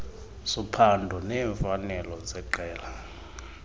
sophando neemfanelo zeqela